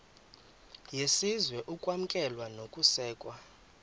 yesizwe ukwamkelwa nokusekwa